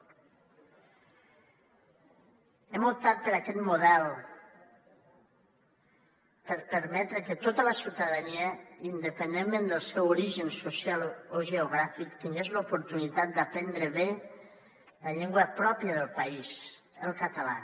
hem optat per aquest model per permetre que tota la ciutadania independentment del seu origen social o geogràfic tingués l’oportunitat d’aprendre bé la llengua pròpia del país el català